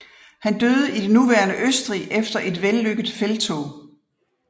Han døde i det nuværende Østrig efter et vellykket felttog